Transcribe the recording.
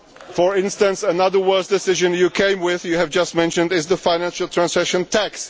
For instance, another worse decision' you came with, which you have just mentioned, is the financial transaction tax.